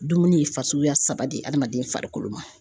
Dumuni ye fasuguya saba de ye adamaden farikolo ma.